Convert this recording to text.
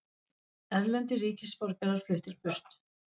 Erlendir ríkisborgarar fluttir burt